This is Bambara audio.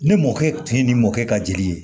Ne mɔkɛ tin ni mɔkɛ ka jeli ye